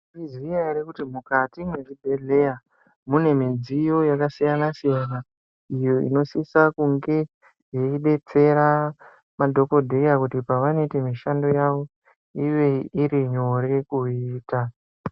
Mwaiziya ere kuti mukati mwezvibhedhleya mune midziyo yakasiyana siyana iyo inosisa kunge yeidetsera madhokodheya kuti pavanoite mishando yawo ive iri nyore kuiita.